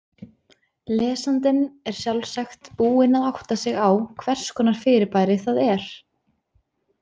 Lesandinn er sjálfsagt búinn að átta sig á hvers konar fyrirbæri það er.